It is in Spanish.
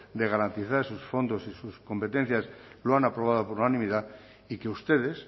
de garantizar esos fondos y sus competencias lo han aprobado por unanimidad y que ustedes